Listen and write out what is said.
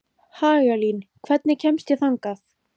Hagalín, hvernig kemst ég þangað?